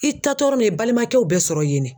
I taa tɔɔrɔ ne i balimakɛw bɛ sɔrɔ yen de.